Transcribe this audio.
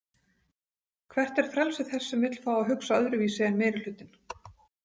Hvert er frelsi þess sem vill fá að hugsa öðruvísi en meirihlutinn?